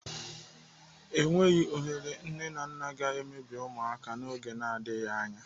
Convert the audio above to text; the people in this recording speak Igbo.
Enweghị ohere nne na nna ga-emebi ụmụaka ha n'oge n'adịghị anya.